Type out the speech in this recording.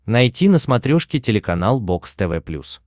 найти на смотрешке телеканал бокс тв плюс